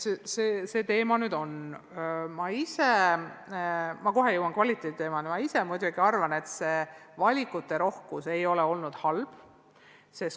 Ma jõuan kohe ka kvaliteedi teemani, aga ma ise muidugi arvan, et valikute rohkus ei ole olnud halb.